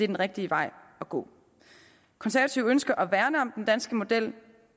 den rigtige vej at gå konservative ønsker at værne om den danske model